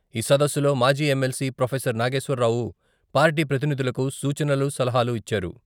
ఈ సదస్సులో మాజీ MLC professor Nageshwar Rao party ప్రతినిధులకు సూచనలు, సలహాలు ఇచ్చారు.